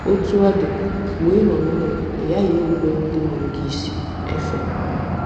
Otú ọ dị, mgbe ị nọ n'ụlọ, ị ghaghị irubere ndị mụrụ gị isi. — Efe.